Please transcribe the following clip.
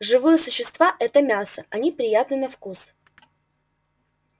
живые существа это мясо они приятны на вкус